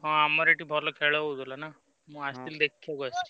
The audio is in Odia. ହଁ ଆମର ଏଠି ଭଲ ଖେଳ ହଉଥିଲା ନାଁ ମୁଁ ଆସିଥିଲି ଦେଖିବାକୁ ଆସିଛି।